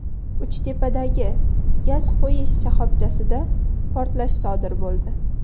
Uchtepadagi gaz qo‘yish shoxobchasida portlash sodir bo‘ldi.